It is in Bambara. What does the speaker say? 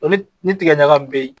Ni ni tigɛ ɲaga min be yen